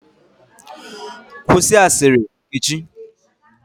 Kwụsị asịrị Nkechi!